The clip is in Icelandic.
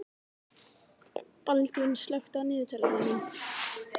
Baldvin, slökktu á niðurteljaranum.